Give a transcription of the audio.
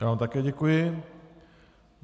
Já vám také děkuji.